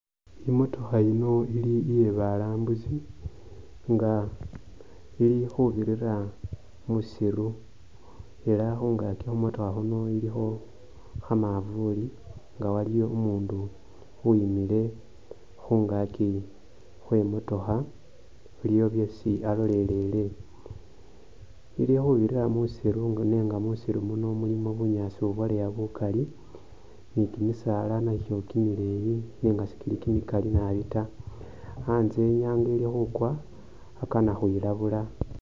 Imotokha ino ili iye balambusi nga ili khubirira mwisiru ela khungakyi khumotokha khuno ilikho kha’mavuli nga waliwo umuundu uwimile khungaki khwe motokha iliwo byesi alolelele ili khubirira musiru nenga musiru muno mulimo bunyaasi ibwaleeya bukali ni kimisaala nakyo kimileyi nenga sikili kimikali nabi taa antse inyanga ili khukwa akana khwilabula.